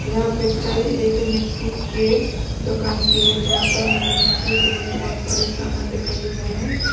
यह पिक्चर एक मिट्टी के दुकान की है जहां पर मुझे मिट्टी से बने बहुत सारे सामान दिखाई दे रहे हैं।